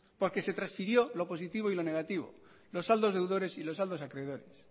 porque se transfirió lo positivo y lo negativo los saldos deudores y los saldos acreedores